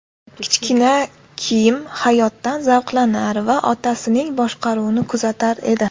Kichkina Kim hayotdan zavqlanar va otasining boshqaruvini kuzatar edi.